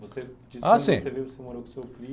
Você disse que você morou com o seu primo.h sim.